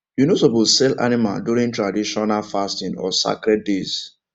you no suppose sell animal during traditional fasting or sacred days